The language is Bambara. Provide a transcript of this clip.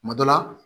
Kuma dɔ la